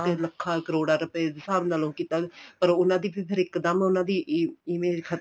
ਲੱਖਾ ਕਰੋੜਾ ਰੁਪਏ ਦੇ ਹਿਸਾਬ ਨਾਲੋਂ ਕੀਤਾ ਪਰ ਉਹਨਾ ਦੀ ਇੱਕ ਦਮ ਉਹਨਾ ਦੀ image